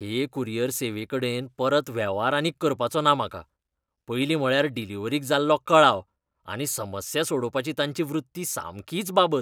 हे कुरियर सेवेकडेन परत वेव्हार आनीक करपाचो ना म्हाका. पयलीं म्हळ्यार डिलिव्हरीक जाल्लो कळाव, आनी समस्या सोडोवपाची तांची वृत्ती सामकीच बाबत.